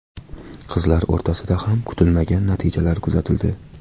Qizlar o‘rtasida ham kutilmagan natijalar kuzatildi.